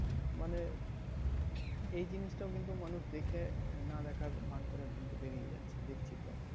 মানে এই জিনিসটা কিন্তু মানুষ দেখে না দেখার ভান করে কিন্তু বেরিয়ে যাচ্ছে। দেখছি তো